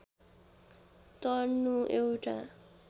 तर्नु एउटा